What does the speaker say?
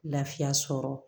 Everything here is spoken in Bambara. Lafiya sɔrɔ